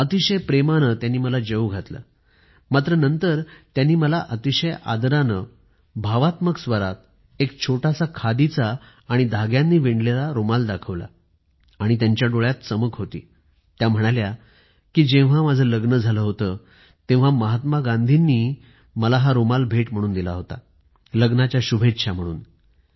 अतिशय प्रेमाने त्यांनी मला जेवू घातलं मात्र नंतर त्यांनी मला अतिशय आदराने भावात्मक स्वरात एक छोटासा खादीचा आणि धाग्यांनी विणलेला एक रुमाल दाखवला आणि त्यांच्या डोळ्यांत चमक होती त्या म्हणाल्या कि जेव्हा माझं लग्न झालं होतं तेव्हा महात्मा गांधी यांनी मला हा रुमाल भेट म्हणून दिला होता लग्नाच्या शुभेच्छा म्हणून